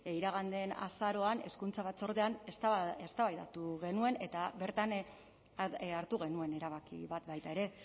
iragan den azaroan hezkuntza batzordean eztabaidatu genuen eta bertan hartu genuen erabaki bat baita ere